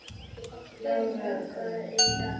Lara, hvað er í dagatalinu í dag?